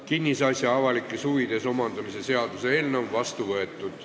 Kinnisasja avalikes huvides omandamise seadus on vastu võetud.